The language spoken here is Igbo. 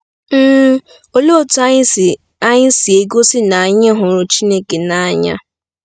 um Olee otú anyị si anyị si egosi na anyị hụrụ Chineke n’anya?